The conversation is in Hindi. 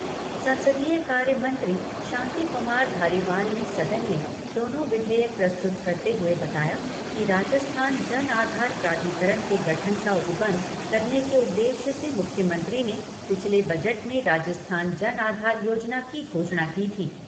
संसदीय कार्य मंत्री शांति कुमार धारीवाल ने सदन में दोनों विधेयक प्रस्तुत करते हुए बताया कि राजस्थान जन आधार प्राधिकरण के गठन का उपबंध करने के उद्देश्य से मुख्यमंत्री ने पिछले बजट में राजस्थान जन आधार योजना की घोषणा की थी।